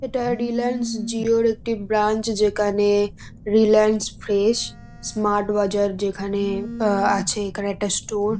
এটা রিলাএন্স জিও -র একটি ব্রাঞ্চ যেখানে রিলাএন্স ফ্রেশ স্মার্ট বাজার যেখানে অ আছে। এখানে একটা ষ্টোর --